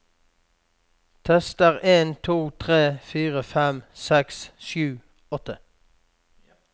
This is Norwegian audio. Tester en to tre fire fem seks sju åtte